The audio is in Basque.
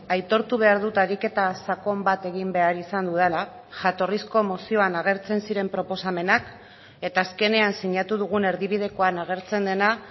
aitortu behar dut ariketa sakon bat egin behar izan dudala jatorrizko mozioan agertzen ziren proposamenak eta azkenean sinatu dugun erdibidekoan agertzen dena